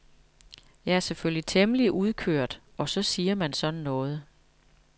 Jeg er selvfølgelig temmelig udkørt og så siger man sådan noget.